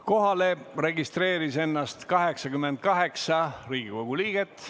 Kohalolijaks registreeris ennast 88 Riigikogu liiget.